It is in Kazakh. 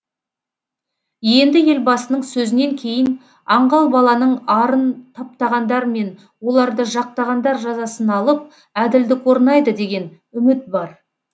енді елбасының сөзінен кейін аңғал баланың арын таптағандар мен оларды жақтағандар жазасын алып әділдік орнайды деген үміт бар